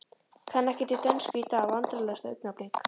Kann ekkert í dönsku í dag Vandræðalegasta augnablik?